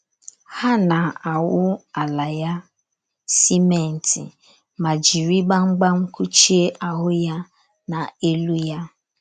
Ha na - awụ ala ya simenti ma jiri gbamgbam kụchie ahụ́ ya na elu ya.